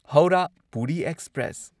Howrah Puri express